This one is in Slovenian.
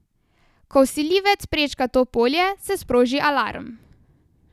Ko vsiljivec prečka to polje, se sproži alarm.